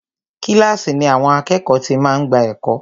Kílàsì ni àwọn àkẹ́ẹ̀kọ́ ti máa ń gbà ẹ̀kọ́.